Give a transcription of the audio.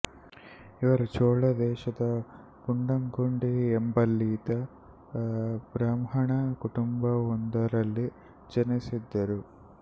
ಇವರು ಚೋಳ ದೇಶದ ಮಂಡಂಗುಡಿ ಎಂಬಲ್ಲಿಯ ಬ್ರಾಹ್ಮಣ ಕುಟುಂಬವೊಂದರಲ್ಲಿ ಜನಿಸಿದರು